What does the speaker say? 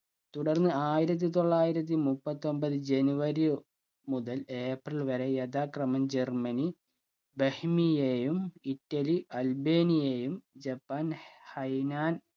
തുടർന്ന് ആയിരത്തി തൊള്ളായിരത്തി മുപ്പത്തൊമ്പത്‌ ജനുവരി ഒ മുതൽ ഏപ്രിൽ വരെ യഥാക്രമം ജർമനി ബഹിമിയയും ഇറ്റലി അൽബിനെയും ജപ്പാൻ ഹൈനാൻ